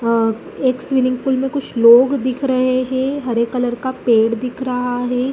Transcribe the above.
अ एक swimming pool में कुछ लोग दिख रहे हैं हरे कलर का पेड़ दिख रहा है।